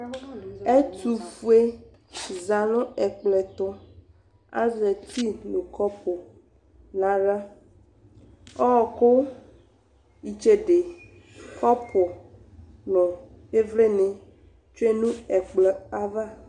Ɛtufuedi za nu ɛkplɔɛkplɔtu Azɛ eti nu kɔpu nawla Ɔwɔku itsede kɔpu nu ivlini tsue nu ɛkplɔ ayava